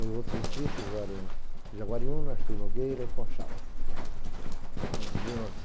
Os outros distritos eram Jaguariúna, Artur Nogueira e Conchal. Em mil nove